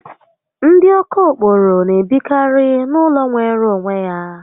Ndi okokporo n'ebikari n'ulo nwere onwe ya